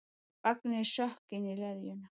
Vanginn sökk inn í leðjuna.